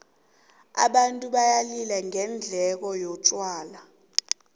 abantu bayalila ngendengo yotjhwala